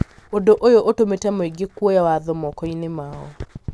Ũndũ ũyũ ũtũmĩte mũingĩ kuoya watho moko-inĩ mao.